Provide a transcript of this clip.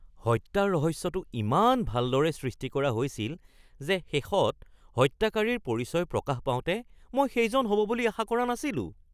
হত্যাৰ ৰহস্যটো ইমান ভালদৰে সৃষ্টি কৰা হৈছিল যে শেষত হত্যাকাৰীৰ পৰিচয় প্ৰকাশ পাওঁতে মই সেইজন হ'ব বুলি আশা কৰা নাছিলো